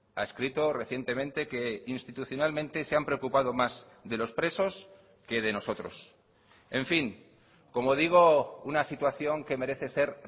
ha escrito recientemente que institucionalmente se han preocupado más de los presos que de nosotros en fin como digo una situación que merece ser